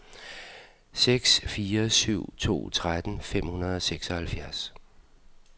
seks fire syv to tretten fem hundrede og seksoghalvfjerds